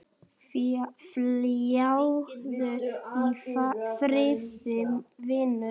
Fljúgðu í friði vinur.